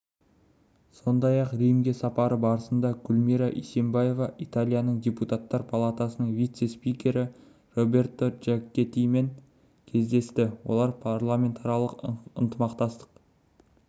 сондай-ақ римге сапары барысында гүлмира исимбаева италияның депутаттар палатасының вице-спикері роберто джакеттимен кездесті олар парламентаралық ынтымақтастық